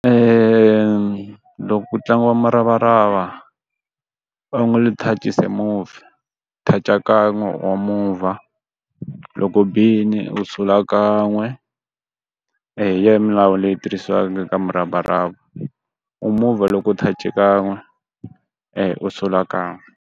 loko ku tlangiwa muravarava, only touch is a move, touch-a kan'we wa muvha. Loko u bile u sula kan'we. hi yona milawu leyi tirhisiwaka ka muravarava. U muvha loko u touch-e kan'we u sula kan'we.